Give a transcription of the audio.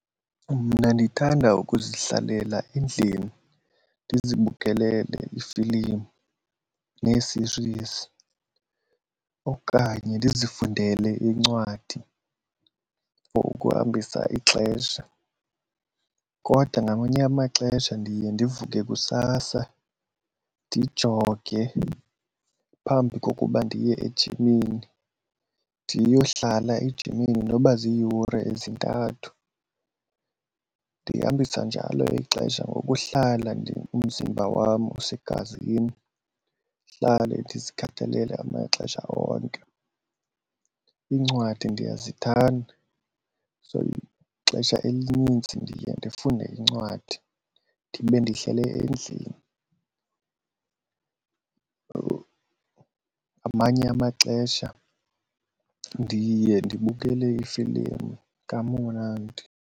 Mna ndithanda ukuzihlalela endlini ndizibukelele iifilimu nee-series okanye ndizifundele iincwadi for ukuhambisa ixesha. Kodwa ngamanye amaxesha ndiye ndivuke kusasa ndijoge phambi kokuba ndiye ejimini ndiyohlala ejimini noba ziiyure ezintathu. Ndihambisa njalo ixesha ngokuhlala umzimba wam usegazini, ndihlale ndizikhathalele ngamaxesha onke. Iincwadi ndiyazithanda so ixesha elinintsi ndiye ndifunde iincwadi ndibe ndihlale endlini or ngamanye amaxesha ndiye ndibukele iifilimu kamnandi.